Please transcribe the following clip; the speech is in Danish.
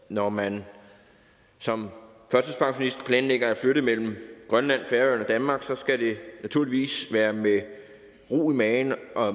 når man som førtidspensionist planlægger at flytte mellem grønland færøerne og danmark skal det naturligvis være med ro i maven